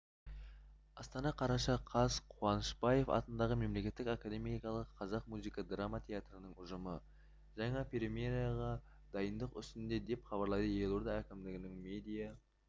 астана қараша қаз қуанышбаев атындағы мемлекеттік академиялық қазақ музыкалық драма театрының ұжымы жаңа премьераға дайындық үстінде деп хабарлайды елорда әкімдігінің медиа